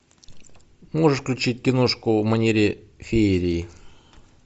можешь включить киношку в манере феерии